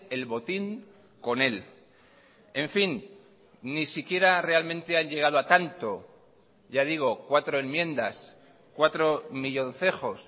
el botín con él en fin ni siquiera realmente han llegado a tanto ya digo cuatro enmiendas cuatro millóncejos